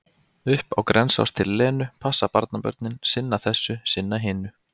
Upp á Grensás til Lenu, passa barnabörnin, sinna þessu, sinna hinu.